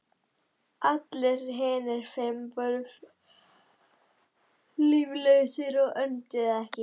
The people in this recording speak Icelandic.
Allir hinir fimm voru líflausir og önduðu ekki.